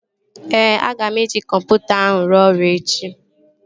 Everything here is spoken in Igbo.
Ee, aga m eji kọmputa ahụ ruo ọrụ echi